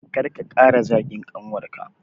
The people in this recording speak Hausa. Kar ka ƙara zagin ƙanwarka